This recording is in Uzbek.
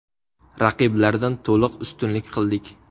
Raqiblardan to‘liq ustunlik qildik.